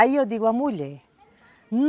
Aí eu digo, à mulher...